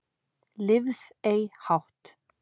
Lifð ei hátt